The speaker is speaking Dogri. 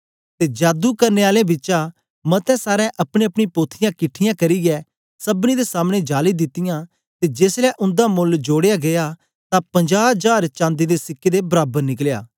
ते जादू करने आलें बिचा मते सारें अपनीअपनी पोथियाँ किट्ठीयां करियै सबनी दे सामने जाली दितीयां ते जेसलै उन्दा मोल्ल जोड़या गीया तां पंजाह जार चांदी दे सिक्के दे बराबर निकलया